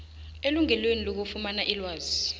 elungelweni lokufumana ilwazi